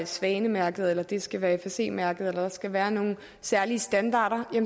svanemærket at det skal være fsc mærket eller at der skal være nogle særlige standarder